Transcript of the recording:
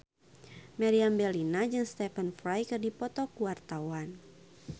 Meriam Bellina jeung Stephen Fry keur dipoto ku wartawan